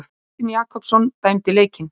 Kristinn Jakobsson dæmdi leikinn.